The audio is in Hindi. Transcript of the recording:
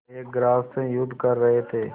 एक ग्रास से युद्ध कर रहे थे